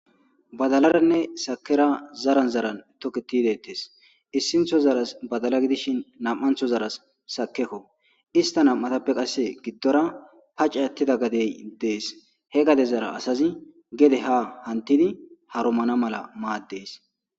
badalaranne sakera zaran zaran toketidi dettes issintho zaras badala gidishin nam'antho zaras sakekko ista nam'atappe qasse giddora pace attida gadey dees he gade zara asazi gede ha hantidi harumana mala maaddees